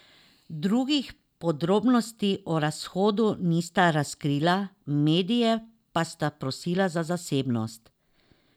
Drugih podrobnosti o razhodu nista razkrila, medije pa sta prosila za zasebnost.